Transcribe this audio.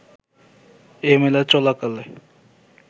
এ মেলা চলাকালে